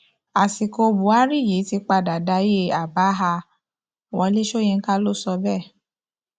àsìkò buhari yìí ti padà dayé àbáhà wọlé sọyìnkà ló sọ bẹẹ